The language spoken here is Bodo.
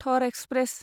थर एक्सप्रेस